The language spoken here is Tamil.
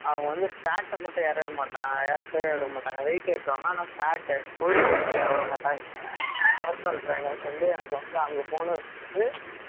அவங்க வந்து fat அ மட்டும் ஏத்தவே மாட்டாங்க weight ஏத்துவாங்க ஆனா fat கொழுப்ப மட்டும் ஏத்த விடமாட்டாங்க personal trainer வச்சு எனக்கு வந்து அங்க போகணும்